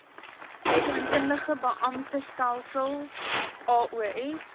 rekeningkundige beamptestelsel aos